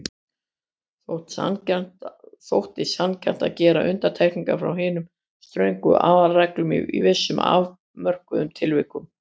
Þótti sanngjarnt að gera undantekningar frá hinum ströngu aðalreglum í vissum afmörkuðum tilvikum.